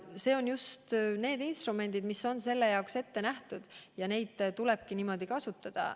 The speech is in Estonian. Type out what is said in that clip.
Need on just need instrumendid, mis on selle jaoks ette nähtud, ja neid tulebki niimoodi kasutada.